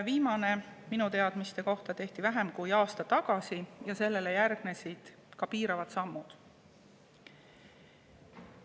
Viimane minu teadmise kohaselt tehti vähem kui aasta tagasi ja sellele järgnesid piiravad sammud.